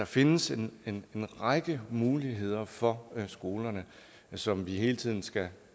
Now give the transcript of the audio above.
findes en række muligheder for skolerne som vi hele tiden skal